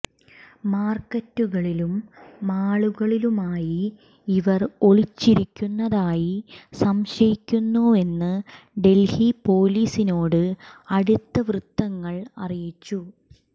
മാർക്കറ്റുകളിലും മാളുകളിലുമായി ഇവർ ഒളിച്ചിരിക്കുന്നതായി സംശയിക്കുവെന്ന് ഡൽഹി പൊലീസിനോട് അടുത്ത വൃത്തങ്ങൾ അറിയിച്ചു